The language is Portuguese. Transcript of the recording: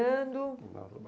Continuava